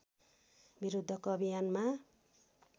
विरुद्धको अभियानमा